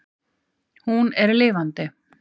Hún er lifandi.